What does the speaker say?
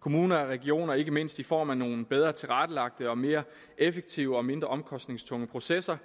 kommuner og regioner ikke mindst i form af nogle bedre tilrettelagte og mere effektive og mindre omkostningstunge processer